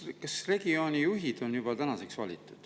Kas regioonijuhid on juba valitud?